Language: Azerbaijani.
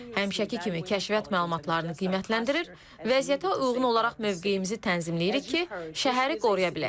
Həmişəki kimi kəşfiyyat məlumatlarını qiymətləndirir, vəziyyətə uyğun olaraq mövqeyimizi tənzimləyirik ki, şəhəri qoruya bilək.